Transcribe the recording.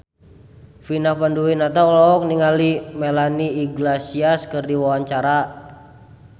Vina Panduwinata olohok ningali Melanie Iglesias keur diwawancara